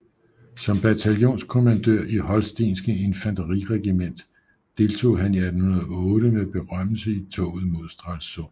Som bataljonskommandør i holstenske Infanteriregiment deltog han 1808 med berømmelse i toget mod Stralsund